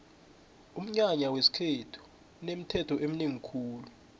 umnyanya wesikhethu unemithetho eminengi khulu